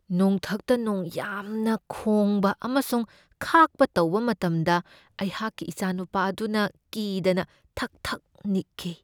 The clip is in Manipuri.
ꯅꯣꯡꯊꯛꯇ ꯅꯣꯡ ꯌꯥꯝꯅ ꯈꯣꯡꯕ ꯑꯃꯁꯨꯡ ꯈꯥꯛꯄ ꯇꯧꯕ ꯃꯇꯝꯗ ꯑꯩꯍꯥꯛꯀꯤ ꯏꯆꯥꯅꯨꯄꯥ ꯑꯗꯨꯅ ꯀꯤꯗꯅ ꯊꯛ ꯊꯛ ꯅꯤꯛꯈꯤ ꯫